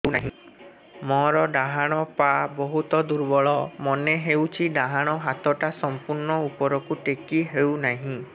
ମୋର ଡାହାଣ ପାଖ ବହୁତ ଦୁର୍ବଳ ମନେ ହେଉଛି ଡାହାଣ ହାତଟା ସମ୍ପୂର୍ଣ ଉପରକୁ ଟେକି ହେଉନାହିଁ